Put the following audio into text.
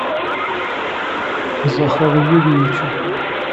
захару юрьевичу